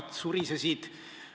Aitäh, austatud istungi juhataja!